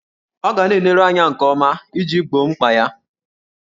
Ọ ga na-eleru anya nke ọma iji gboo mkpa ya.